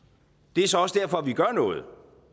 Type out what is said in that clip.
det er så også derfor vi gør noget